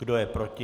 Kdo je proti?